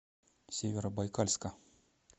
северобайкальска